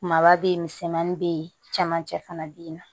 Kumaba bɛ yen misɛnmani bɛ yen camancɛ fana bɛ yen nɔ